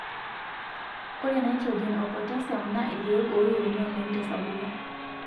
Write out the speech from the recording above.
ore nitrogen oo potassium naa irkek oo iyieuni oleng te sapuko